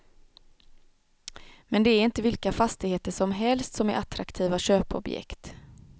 Men det är inte vilka fastigheter som helst som är attraktiva köpobjekt.